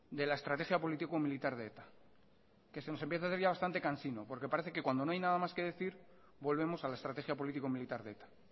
de la estrategia político militar de eta que se nos empieza a hacer ya bastante cansino porque parece que cuando no hay nada más que decir volvemos a la estrategia político militar de eta